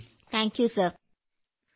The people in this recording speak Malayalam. വിജയശാന്തി നന്ദി സർ